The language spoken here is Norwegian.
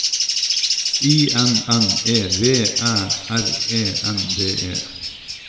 I N N E V Æ R E N D E